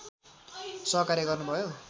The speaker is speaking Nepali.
सहकार्य गर्नुभयो